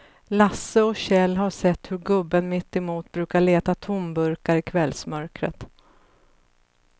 Lasse och Kjell har sett hur gubben mittemot brukar leta tomburkar i kvällsmörkret.